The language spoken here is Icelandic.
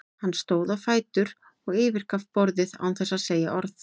Hann stóð á fætur og yfirgaf borðið án þess að segja orð.